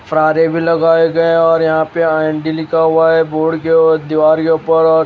रारी भी लगाए गए और यहां पे आईडी लिखा हुआ है बोर्ड के और दीवार के ऊपर और--